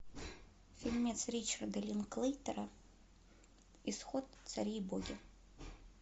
фильмец ричарда линклейтера исход цари и боги